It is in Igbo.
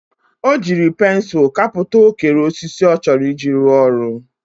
O jiri pensul kaputa okere osisi o choro iji ru oru.